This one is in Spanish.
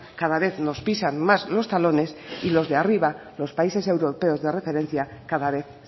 cada vez nos pisan más los talones y lo de arriba los países europeos de referencia cada vez